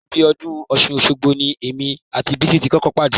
Ibi ọdún Ọ̀ṣun Òṣogbo ni èmi àti Bísí ti kọ́kọ́ pàdé